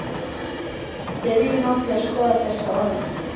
byrjum á því að skoða þessi orð